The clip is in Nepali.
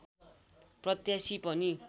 प्रत्यासी पनि